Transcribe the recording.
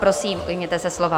Prosím, ujměte se slova.